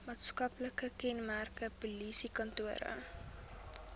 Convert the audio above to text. maatskaplike kenmerke polisiekantore